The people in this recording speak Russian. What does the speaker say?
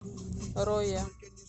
роя